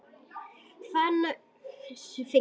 Far sér sumir fengu þar.